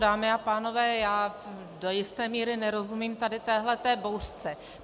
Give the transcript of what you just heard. Dámy a pánové, já do jisté míry nerozumím tady téhleté bouřce.